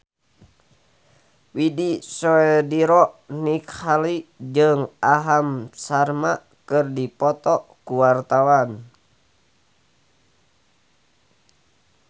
Widy Soediro Nichlany jeung Aham Sharma keur dipoto ku wartawan